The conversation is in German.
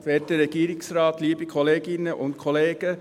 Für die FDP, Hans-Peter Kohler.